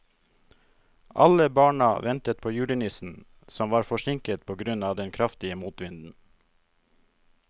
Alle barna ventet på julenissen, som var forsinket på grunn av den kraftige motvinden.